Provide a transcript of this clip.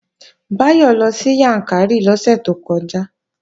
Báyọ̀ lọ sí Yàǹkàrí lọ́sẹ̀ tó kọjá